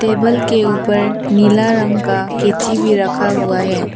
Table के ऊपर नीला रंग का केतली भी रखा हुआ है।